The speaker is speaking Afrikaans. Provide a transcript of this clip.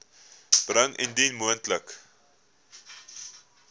bring indien moontlik